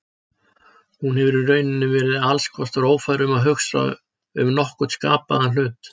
Hún hefur í rauninni verið alls kostar ófær um að hugsa um nokkurn skapaðan hlut.